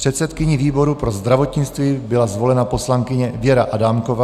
Předsedkyní výboru pro zdravotnictví byla zvolena poslankyně Věra Adámková.